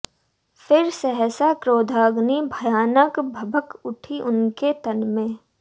फिर सहसा क्रोधाग्नि भयानक भभक उठी उनके तन में